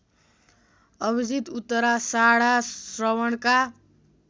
Abhijit Uttarashadha श्रवणका